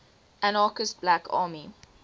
anarchist black army